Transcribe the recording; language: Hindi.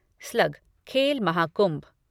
स्लग खेल महाकुंभ